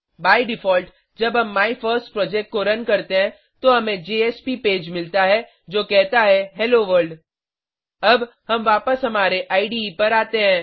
by default जब हम my first project को रन करते हैं तो हमें जेएसपी पेज मिलता है जो कहता है हेलो वर्ल्ड अब हम वापस हमारे इडे पर आते हैं